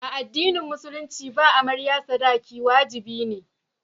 A addinin musulunci ba amarya sadaki wajibi ne.